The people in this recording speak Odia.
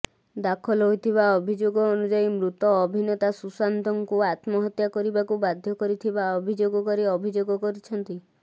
ଦାଖଲ ହୋଇଥିବା ଅଭିଯୋଗ ଅନୁଯାୟୀ ମୃତ ଅଭିନେତା ସୁଶାନ୍ତଙ୍କୁ ଆତ୍ମହତ୍ୟା କରିବାକୁ ବାଧ୍ୟ କରିଥିବା ଅଭିଯୋଗକାରୀ ଅଭିଯୋଗ କରିଛନ୍ତି